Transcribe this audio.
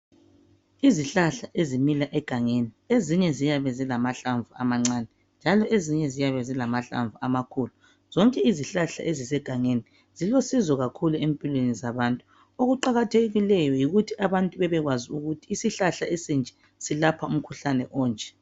Izihlahla ezimila egangeni ezinye ziyabe zilamahlamvu amancane njalo ezinye ziyabe zilamahlamvu amakhulu zonke izihlahla ezisegangeni zilosizo kakhulu empilweni zabantu okuqakathekileyo yikuthi abantu bebekwazi ukuthi isihlahla esinje silapha umkhuhlane onje.